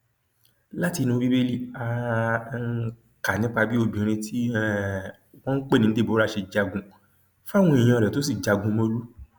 látinú bíbélì á um kà nípa bí obìnrin tí um wọn pè ní deborah ṣe jagun fáwọn èèyàn rẹ tó sì jagunmólú